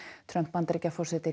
Trump Bandaríkjaforseti